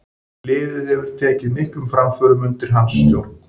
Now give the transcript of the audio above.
Liðið hefur tekið miklum framförum undir hans stjórn.